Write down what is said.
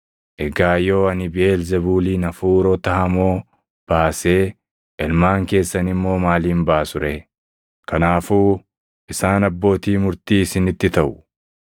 Egaa yoo ani Biʼeelzebuuliin hafuurota hamoo baasee, ilmaan keessan immoo maaliin baasu ree? Kanaafuu isaan abbootii murtii isinitti taʼu.